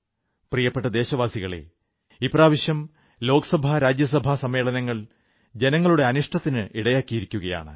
പ്രിയപ്പെട്ട ദേശവാസികളേ ഇപ്രാവശ്യം ലോക്സഭാരാജ്യസഭാ സമ്മേളനങ്ങൾ ജനങ്ങളുടെ അനിഷ്ടത്തിന് ഇടയാക്കിയിരിക്കയാണ്